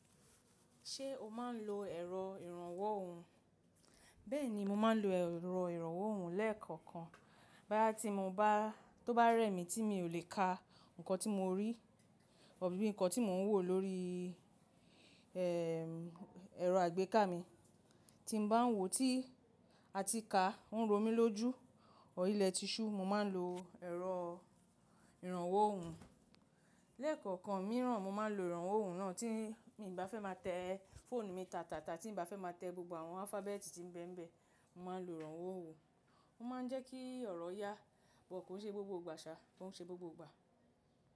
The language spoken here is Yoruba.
Ṣé o máa ń lo ẹ̀rọ ìrànwọ́ ohùn? Bẹ́ẹ̀ni, mo máa ń lo ẹ̀rọ ìrànwọ́ ohùn lẹ́ẹ̀kọ̀kan. Báýà tí mo bá, tó bá rẹ̀ mí tí mi ò lè ka nǹkan tí mo rí, bí nǹkan tí mò ń wò lórí, ẹ̀rọ àgbéká mi. Tí mo bá ń wò tí, àti ka, ń ro mí lójú, ọ̀r ilẹ̀ tiṣú, mo máa ń lo ẹ̀rọ ìrànwọ́ ohùn. Lẹ́ẹ̀kọ̀kan mí rán mo máa ń lo ìrànwọ́ ohùn náà tí mi bá fẹ́ máa tẹ fọ́ọ̀nù mi tàtàtà, tí mo bá fẹ́ máa tẹ gbogbo àwọn alphabet tí ń bẹ́mbẹ́, mo máa ń lo ìrànwọ́ ohùn. Ó máa ń jẹ́ kí ọ̀rọ̀ yá, but kò ṣe gbogbo ìgbà ṣá, kò ń ṣe gbogbo ìgbà.